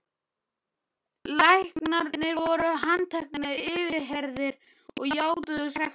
Læknarnir voru handteknir, yfirheyrðir og játuðu sekt sína.